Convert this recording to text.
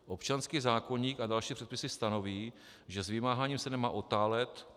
Občanský zákoník a další předpisy stanoví, že s vymáháním se nemá otálet.